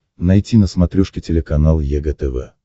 найти на смотрешке телеканал егэ тв